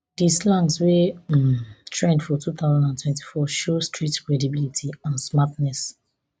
di slangs wey um trend for two thousand and twenty-four show street credibility and smartness